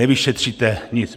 Nevyšetříte nic.